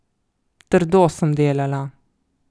Trdo sem delala.